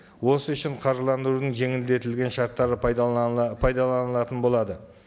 осы үшін қаржыландырудың жеңілдетілген шарттары пайдаланылатын болады